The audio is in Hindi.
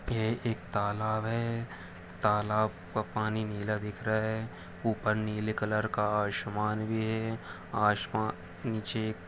यह एक तालब है तलाब का पानी नीला दिख रहा है ऊपर नीले कलर का आसमान भी है आसमान के निचे एक--